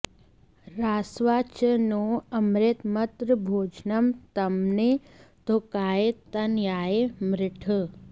रास्वा॑ च नो अमृत मर्त॒भोज॑नं॒ त्मने॑ तो॒काय॒ तन॑याय मृळ